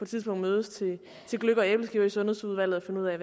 tidspunkt mødes til gløgg og æbleskiver i sundhedsudvalget og finde ud af